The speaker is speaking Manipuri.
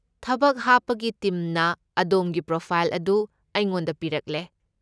ꯊꯕꯛ ꯍꯥꯞꯄꯒꯤ ꯇꯤꯝꯅ ꯑꯗꯣꯝꯒꯤ ꯄ꯭ꯔꯣꯐꯥꯏꯜ ꯑꯗꯨ ꯑꯩꯉꯣꯟꯗ ꯄꯤꯔꯛꯂꯦ꯫